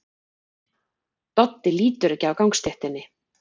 Doddi lítur ekki af gangstéttinni.